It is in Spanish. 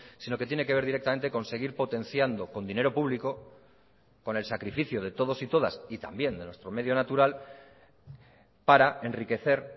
sino que tiene que ver directamente con seguir potenciando con dinero público con el sacrificio de todos y todas y también de nuestro medio natural para enriquecer